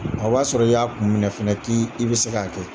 O b'a sɔrɔ i y'a kun minɛ fɛnɛ k'i bɛ se k'a kɛ